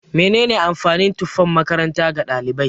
Mene ne amfanin tufan makaranta ga ɗalibai?